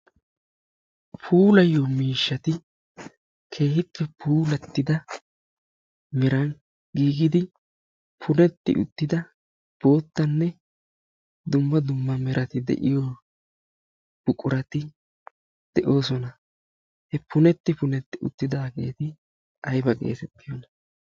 puulayiyo miishshati keehippe puulatida meran puulati uttida bootanne zo'o dumma dumma buqurati de'oosona. ha punetu puneti utidaageti ayba geetettiyonaa?